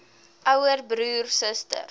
ouer broer suster